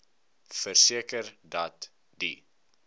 verseker dat die